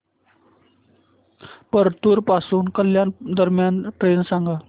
परतूर पासून कल्याण दरम्यान ट्रेन सांगा